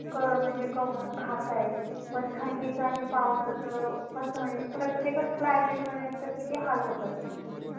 कस तरी कमवून म्हणजे करून खताएत पण थंडीच आणि पावसाच कस म्हणजे प्रत्येकच क्लायमेट मध्ये ह्यांचे किती हाल होतात ना